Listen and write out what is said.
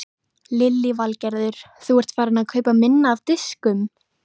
Lillý Valgerður: Þú ert farinn að kaupa minna af diskum?